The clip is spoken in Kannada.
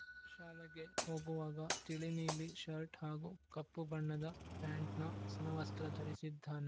ಶಾಲೆಗೆ ಹೋಗುವಾಗ ತಿಳಿನೀಲಿ ಶರ್ಟ್‌ ಹಾಗೂ ಕಪ್ಪು ಬಣ್ಣದ ಪ್ಯಾಂಟ್‌ನ ಸಮವಸ್ತ್ರ ಧರಿಸಿದ್ದಾನೆ